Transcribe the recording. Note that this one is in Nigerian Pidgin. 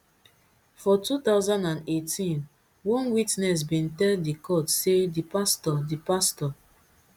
for two thousand and eighteen one witness bin tell di court say di pastor di pastor